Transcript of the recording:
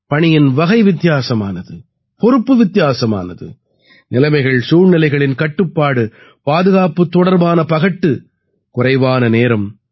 பணியின் வகை வித்தியாசமானது பொறுப்பு வித்தியாசமானது நிலைமைகள்சூழ்நிலைகளின் கட்டுப்பாடு பாதுகாப்பு தொடர்பான பகட்டு குறைவான நேரம்